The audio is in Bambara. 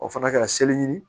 O fana kɛra seleri